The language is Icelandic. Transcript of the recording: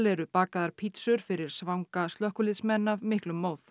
eru bakaðar pítsur fyrir svanga slökkviliðsmenn af miklum móð